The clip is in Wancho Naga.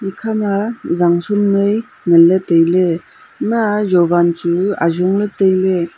akha ma janchum noi nganle taile ema jowan chunu ajungla taile.